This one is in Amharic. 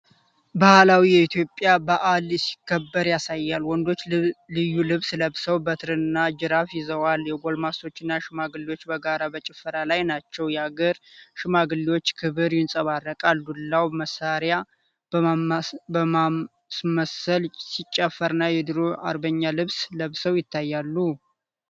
ባህላዊ የኢትዮጵያ በዓል ሲከበር ያሳያል። ወንዶች ልዩ ልብስ ለብሰው በትረና ጅራፍ ይዘዋል። የጎልማሶችና ሽማግሌዎች በጋራ በጭፈራ ላይ ናቸው። የአገር ሽማግሌዎች ክብር ይንጸባረቃል። ዱላውን መሳሪያ በማስመሰል ሲጨፍሩ እና የድሮ አርበኛ ልብስ ለብሰው ይታያሉ፡፡